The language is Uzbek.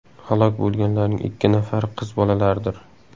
Halok bo‘lganlarning ikki nafari qiz bolalardir.